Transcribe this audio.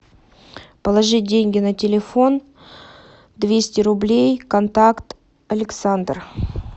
положи деньги на телефон двести рублей контакт александр